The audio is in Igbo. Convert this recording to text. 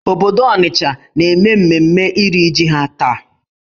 Obodo Onitcha na-eme mmemme iri jì ha taa.